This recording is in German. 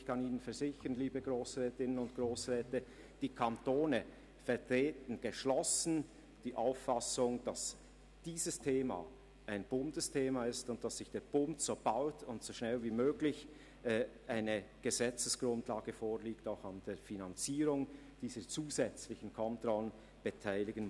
Ich kann Ihnen versichern, liebe Grossrätinnen und Grossräte, dass die Kantone geschlossen die Auffassung vertreten, dieses Thema sei ein Bundesthema und der Bund müsse so bald wie möglich eine Gesetzesgrundlage vorlegen und sich auch an der Finanzierung dieser zusätzlichen Kontrollen beteiligen.